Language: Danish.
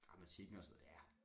Gramatikken og sådan noget ja